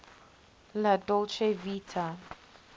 la dolce vita